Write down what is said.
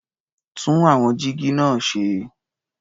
Tún àwọn jígí náà ṣe.